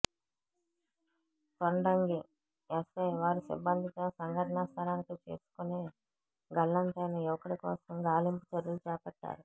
Tondangi SI వారి సిబ్బందితో సంఘటనా స్థలానికి చేసుకుని గల్లంతైన యువకుడి కోసం గాలింపు చర్యలు చేపట్టారు